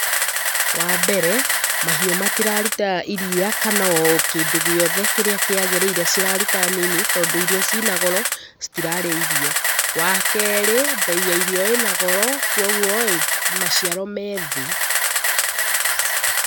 Wa mbere, mahiũ matiraruta iria kana o kĩndũ gĩothe kĩrĩa kĩagĩrĩire ciraruta nini, tondũ irio cina goro, citirarĩa irio. Wa keerĩ, mbei ya irio ĩna goro kwogwo-ĩ maciaro me thĩĩ.